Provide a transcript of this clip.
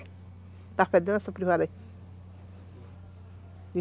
Está fedendo essa privada aí?